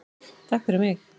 TAKK FYRIR MIG.